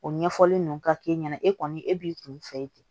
O ɲɛfɔli nunnu ka k'e ɲɛna e kɔni e b'i kun fɛ ten